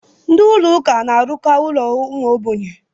Ndị Ụlọ ụka na-arụkwa ụlọ ụmụ ogbenye.